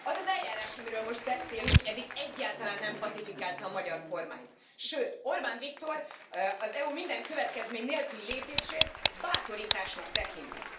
Az az eljárás, amiről most beszélünk, eddig egyáltalán nem pacifikálta a magyar kormányt, sőt Orbán Viktor az EU minden következmény nélküli fellépését bátorításnak tekinti.